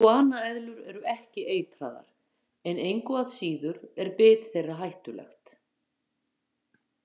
Iguana-eðlur eru ekki eitraðar en engu að síður er bit þeirra hættulegt.